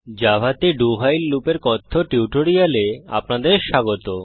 জাভাতে do while loop এর কথ্য টিউটোরিয়ালে আপনাদের স্বাগত